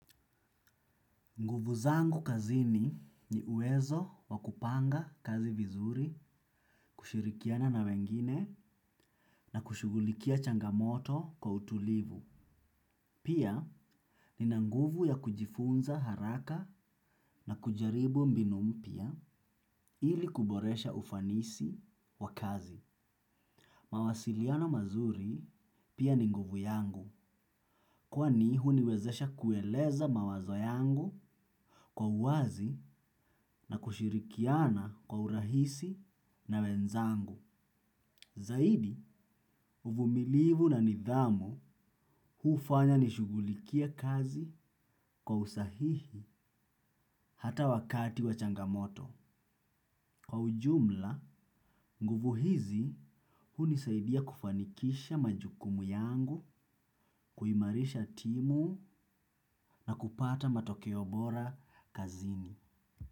Nguvu zangu kazini ni uwezo wa kupanga kazi vizuri kushirikiana na wengine na kushugulikia changamoto kwa utulivu. Pia nina nguvu ya kujifunza haraka na kujaribu mbinu mpya ili kuboresha ufanisi wa kazi. Mawasiliano mazuri pia ni nguvu yangu. Kwani huniwezesha kueleza mawazo yangu kwa uwazi na kushirikiana kwa urahisi na wenzangu. Zaidi, uvumilivu na nidhamu hufanya nishugulikie kazi kwa usahihi hata wakati wa changamoto. Kwa ujumla, nguvu hizi hunisaidia kufanikisha majukumu yangu, kuimarisha timu na kupata matokeo bora kazini.